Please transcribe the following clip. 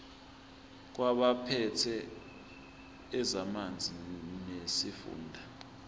kwabaphethe ezamanzi nesifunda